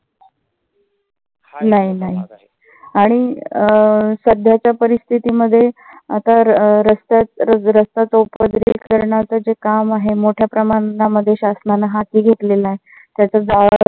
नाही नाही. आणि अं सध्याच्या परिस्थिती आता रस्ता चौपदरीकरणाच जे काम आहे मोठ्या प्रमाणामध्ये शासनाने हाती घेतलेलं आहे. त्याचा जो